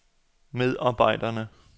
medarbejderne